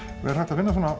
á